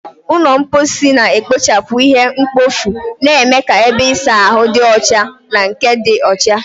Ụlọ mposi na-ekpochapụ ihe mkpofu, na-eme ka ebe ịsa ahụ dị ọcha na nke dị ọcha.